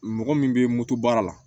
Mɔgɔ min bɛ moto baara la